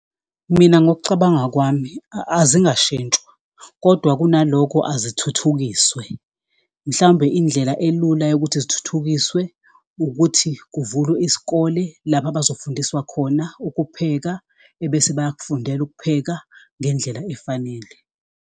Mina, ngokucabanga kwami azingashintshwa, kodwa kunalokho ezithuthukiswe, mhlawumbe indlela elula yokuthi zithuthukiswe ukuthi kuvulwe isikole, lapho abazokufundiswa khona ukupheka, ebese bayakufundela ukupheka ngendlela efanele.